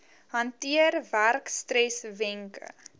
hanteer werkstres wenke